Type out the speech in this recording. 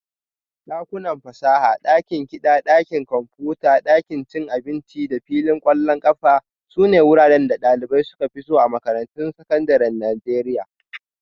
Dakunan fasaha, dakin kiɗa, ɗakin kwamfuta, ɗakin cin abinci da filin ƙwallon ƙafa sune wuraren da ɗalibai suka fi so a makarantun sakandaren Najeriya